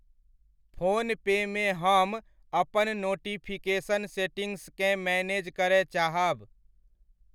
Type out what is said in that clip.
Phone पे मे हम अपन नोटिफिकेशन सेटिंग्सकेँ मैनेज करय चाहब।